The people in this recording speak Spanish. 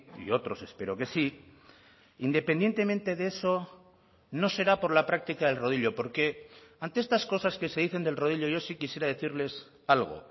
y otros espero que sí independientemente de eso no será por la práctica del rodillo porque ante estas cosas que se dicen del rodillo yo sí quisiera decirles algo